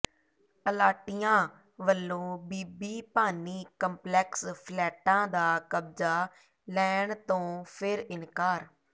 ਅਲਾਟੀਆਂ ਵਲੋਂ ਬੀਬੀ ਭਾਨੀ ਕੰਪਲੈਕਸ ਫਲੈਟਾਂ ਦਾ ਕਬਜ਼ਾ ਲੈਣ ਤੋਂ ਫਿਰ ਇਨਕਾਰ